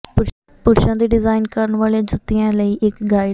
ਪੁਰਸ਼ਾਂ ਦੇ ਡਿਜ਼ਾਈਨ ਕਰਨ ਵਾਲੇ ਜੁੱਤੀਆਂ ਲਈ ਇੱਕ ਗਾਈਡ